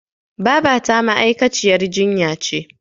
Babata ma'aikaciyar jinya ce.